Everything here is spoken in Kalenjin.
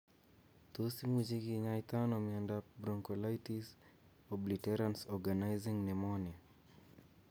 Tos imuchi kinyaita ano miondop bronchiolitis obliterans organizing pneumonia